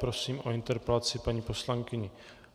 Prosím o interpelaci paní poslankyni